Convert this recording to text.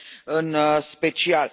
în special.